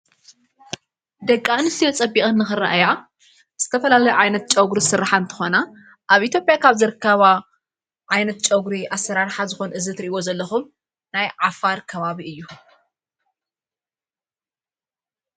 ደቂ እንስትዬ ጸቢቀን ንኽርእያ ዝተፈላለ ዓይነት ጨውጕሩ ሥርኃ እንተኾና ኣብ ኢቴጴያ ኻብ ዘርካባ ዓይነት ጨውጕሪ ኣሠራርኃ ዝኾን እዝ ትርእጐ ዘለኹም ናይ ዓፋር ካባቢ እዩ።